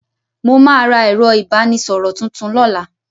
Mo ma ra ẹ̀rọ ìbánísọ̀rọ̀ tuntun lọ́la.